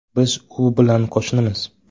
Biz u bilan qo‘shnimiz.